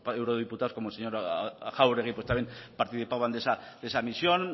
eurodiputados como el señor jáuregui también participaban de esa misión